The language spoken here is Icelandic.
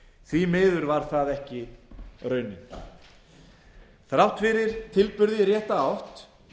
því miður varð það ekki raunin þrátt fyrir tilburði í rétta átt